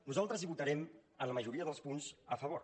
nosaltres hi votarem en la majoria dels punts a favor